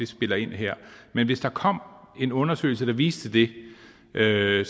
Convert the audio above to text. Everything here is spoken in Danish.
spiller ind her men hvis der kom en undersøgelse der viste det vil jeg